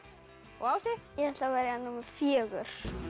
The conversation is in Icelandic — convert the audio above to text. og Ási ég ætla að velja númer fjórða